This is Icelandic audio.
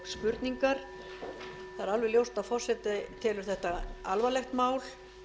alveg ljóst að forseti telur þetta alvarlegt mál